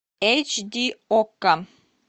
эйч ди окко